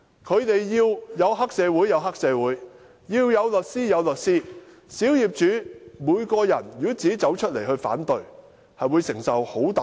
他們要黑社會有黑社會，要律師有律師，如果小業主要自己走出來反對，會承受很大壓力。